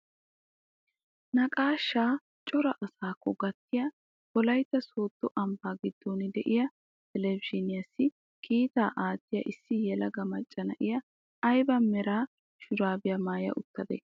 Naqashshaa cora asaakko gattiyaa wolaytta sooddo ambbaa giddon de'iyaa televizhiniyaassi kiitaa aattiyaa issi yelaga macca na'iyaa ayba mera shuraabiyaa maaya uttadee?